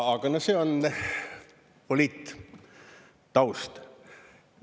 Aga no see on poliittaust.